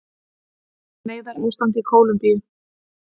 Neyðarástand í Kólumbíu